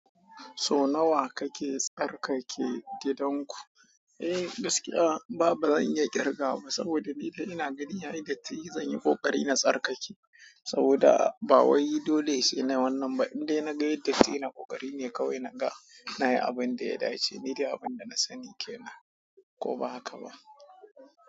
So nawa kake tsarkake gidan ku? Eh gaskiya, ba zan iya kirgawa ba saboda ni dai ina gani yayi datti zanyi ƙoƙari na tsarkake saboda bawai dole sainai wannan ba indai naga yayi datti ina ƙoƙari ne kawai na ga na yi abin da ya dace. Ni dai abin da na sani ke nan ko ba haka ba.